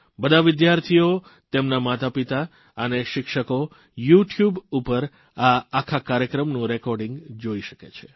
બધા વિદ્યાર્થીઓ તેમના માતાપિતા અને શિક્ષકો યુટયુબ પર આ સંપૂર્ણ કાર્યક્રમને જોઇ શકે છે